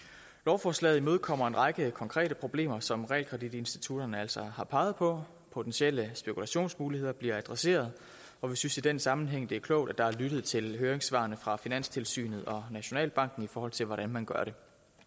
lovforslaget imødekommer en række konkrete problemer som realkreditinstitutterne altså har peget på potentielle spekulationsmuligheder bliver adresseret og vi synes i den sammenhæng det er klogt at der er lyttet til høringssvarene fra finanstilsynet og nationalbanken i forhold til hvordan man gør det